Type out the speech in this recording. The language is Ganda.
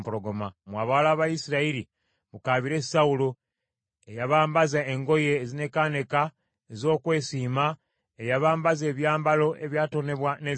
“Mmwe abawala ba Isirayiri, mukaabire Sawulo, eyabambaza engoye ezinekaaneka ez’okwesiima, eyabambaza ebyambalo ebyatonebwa ne zaabu.